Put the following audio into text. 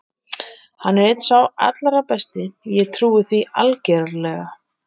Hann er einn sá allra besti, ég trúi því algerlega.